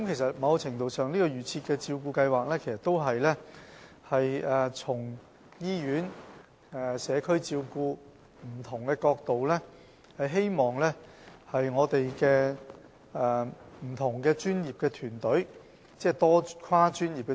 在某程度上來說，"預設照顧計劃"是從醫院、社區照顧等不同層面，透過我們的跨專業團隊提供服務。